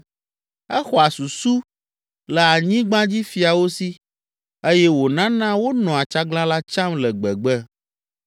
Exɔa susu le anyigbadzifiawo si eye wònana wonɔa tsaglalã tsam le gbegbe.